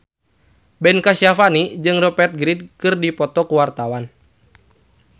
Ben Kasyafani jeung Rupert Grin keur dipoto ku wartawan